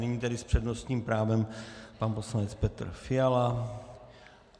Nyní tedy s přednostním právem pan poslanec Petr Fiala.